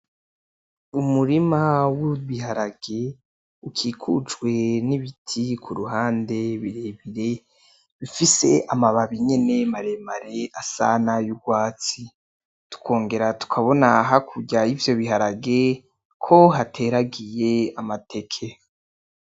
Umurima w'ibiharage ukikujwe n'ibiti kuruhande birebire bifise amababi nyene maremare asa nay'urwatsi, tukongera tukabona hakurya yivyo biharage ko hateragiye amateke.